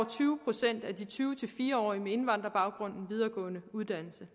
tyve procent af de tyve til fire og tyve årige med indvandrerbaggrund en videregående uddannelse